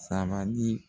Sabali